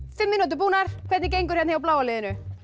fimm mínútur búnar hvernig gengur hjá bláa liðinu